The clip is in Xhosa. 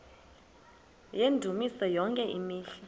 yendumiso yonke imihla